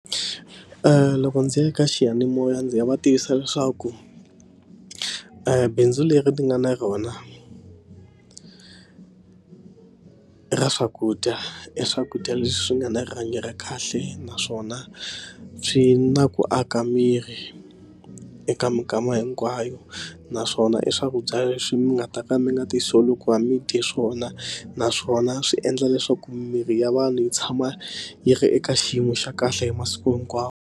loko ndzi ya ka xiyanimoya ndzi nga va tivisa leswaku bindzu leri nga na rona ra swakudya e swakudya leswi nga na rihanyo ra kahle naswona swi na ku aka miri eka minkama hinkwayo naswona i swakudya leswi mi nga ta ka mi nga ti solver mi dye swona naswona swi endla leswaku mirhi ya vanhu yi tshama yi ri eka xiyimo xa kahle hi masiku hinkwawo.